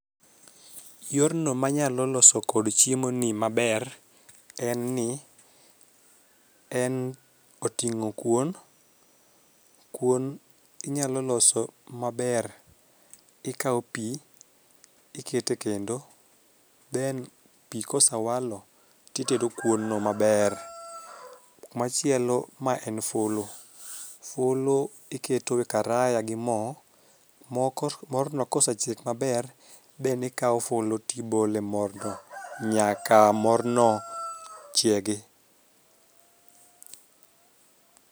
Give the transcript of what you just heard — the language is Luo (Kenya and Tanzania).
Yorno manyalo loso kod chiemo ni maber en ni en oting'o kuon, kuon inyalo loso maber ikawo pii ikete kendo then pii kosawalo titedo kuon no maber . Machielo ma en fulu, fulu iketo e karaya gi moo moko morno kosechiek maber then ikawo fulu tibole morno nyaka morno chiegi